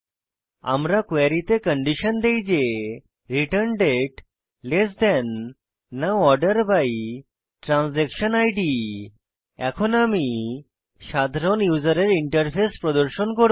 আমরা কোয়েরীতে তে কন্ডিশন দেই যে return date now order by transaction Id এখন আমি সাধারণ ইউসারের ইন্টারফেস প্রদর্শন করব